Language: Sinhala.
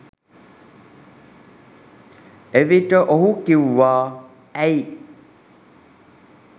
එවිට ඔහු කිව්වා ඇයි